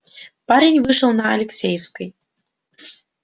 парень вышел на алексеевской